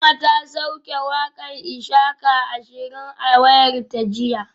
Salma ta sauke wakar ishaka ashirin a wayarta jiya